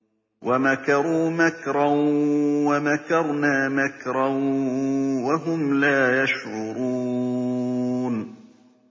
وَمَكَرُوا مَكْرًا وَمَكَرْنَا مَكْرًا وَهُمْ لَا يَشْعُرُونَ